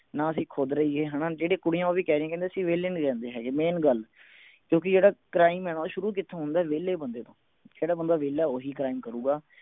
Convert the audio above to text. ਨਾ ਅਸੀਂ ਖੁਦ ਰਹੀਏ ਹਣਾ ਜਿਹੜੀ ਕੁੜੀਆਂ ਉਹ ਵੀ ਕਹਿ ਰਹੀਆਂ ਕਹਿੰਦੇ ਅਸੀਂ ਵਿਹਲੇ ਨਹੀਂ ਰਹਿੰਦੇ ਹੈਗੇ main ਗੱਲ ਕਿਓਂਕਿ ਜਿਹੜਾ crime ਹੈ ਨਾ ਉਹ ਸ਼ੁਰੂ ਕਿਥੋਂ ਹੁੰਦੇ ਵਿਹਲੇ ਬੰਦੇ ਤੋਂ ਜਿਹੜਾ ਬੰਦਾ ਵਿਹਲੇ ਓਹੀ crime ਕਰੂਗਾ